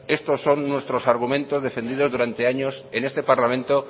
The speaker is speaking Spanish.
estos son nuestros argumentos defendidos durante años en este parlamento